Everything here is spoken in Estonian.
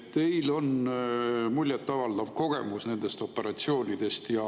Teil on muljetavaldav kogemus nendest operatsioonidest.